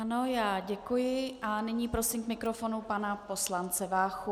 Ano, já děkuji a nyní prosím k mikrofonu pana poslance Váchu.